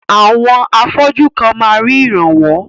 Àwọn afọ́jú kan máa rí ìrànwọ́.